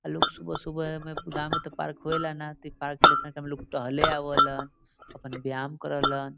लोग सुबह-सुबह एमें गांव में ते पार्क होएला न त इ पार्क लेखा हमलोग टहले आवेलन अपन व्यायाम करे लन।